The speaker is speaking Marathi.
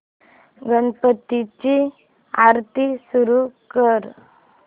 गणपती ची आरती सुरू कर